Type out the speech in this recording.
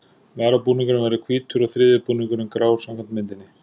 Varabúningurinn verður hvítur og þriðji búningurinn grár samkvæmt myndinni.